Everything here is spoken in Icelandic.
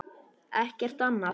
Ekkert annað?